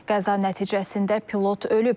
Qəza nəticəsində pilot ölüb.